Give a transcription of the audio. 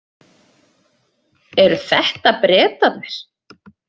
Eru þetta Bretarnir?